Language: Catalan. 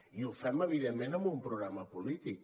i ho fem evidentment amb un programa polític